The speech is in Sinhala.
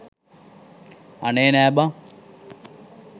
අනේ නෑ බන්